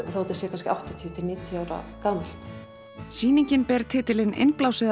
þó þetta sé kannski áttatíu til níutíu ára gamalt sýningin ber titilinn innblásið af